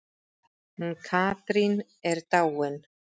Hún Katrín er dáin.